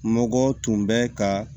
Mɔgɔ tun bɛ ka